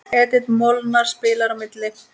Edith Molnar spilar á milli.